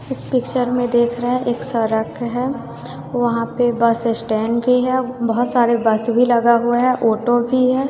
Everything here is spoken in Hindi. इस पिक्चर में देख रहे है एक सड़क है वहां पे बस स्टैंड भी है बहुत सारे बस भी लगा हुआ है ऑटो भी हैं।